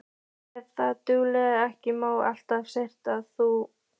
Ef það dugir ekki má alltaf svelta þá úti.